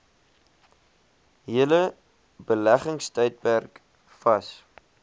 hele beleggingstydperk vas